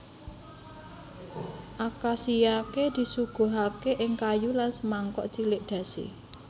Akashiyake disuguhake ing kayu lan samangkok cilik dashi